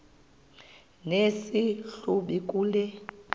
nesi hlubi kule